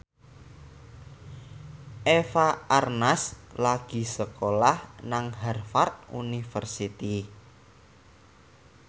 Eva Arnaz lagi sekolah nang Harvard university